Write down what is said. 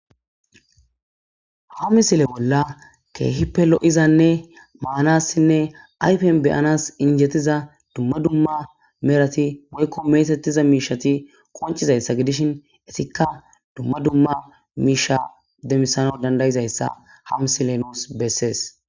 Ha misileza bolla keehippe lo'izanne manasinne ayfen be'anas injetiza dumma dumma Medhat woyko metetiza miishat qoncisizaysa gidishn izka dumma dumma misha demisanas danda'izaysa ha misiley nus beses,